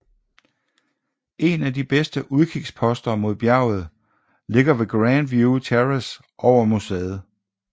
En af de bedste udkigsposter mod bjerget ligger ved Grandview Terrace over museet